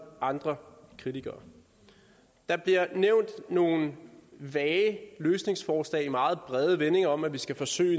og andre kritikere der bliver nævnt nogle vage løsningsforslag i meget brede vendinger om at vi skal forsøge